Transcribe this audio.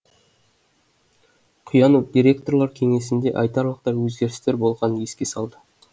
құянов директорлар кеңесінде айтарлықтай өзгерістер болғанын еске салды